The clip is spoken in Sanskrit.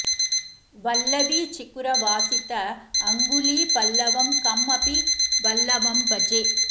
वल्लवी चिकुर वासित अङ्गुली पल्लवम् कम् अपि वल्लवम् भजे